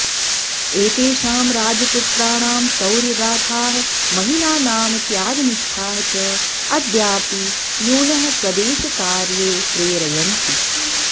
एतेषां राजपुत्राणां शौर्यगाथाः महिलानां त्यागनिष्ठाः च अद्यापि यूनः स्वदेशकार्ये प्रेरयन्ति